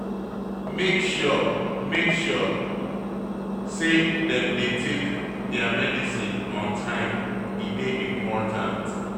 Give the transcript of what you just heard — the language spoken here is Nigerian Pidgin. Make sure Make sure sey dem dey take their medicine on time, e dey important.